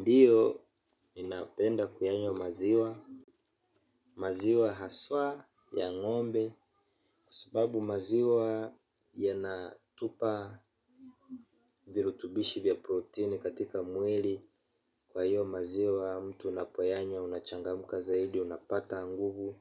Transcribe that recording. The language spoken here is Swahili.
Ndiyo, ninapenda kuyanywa maziwa, maziwa haswa ya ngombe kwa sababu maziwa yanatupa virutubishi vya protini katika mwili kwa hiyo maziwa mtu unapoyanywa unachangamka zaidi, unapata nguvu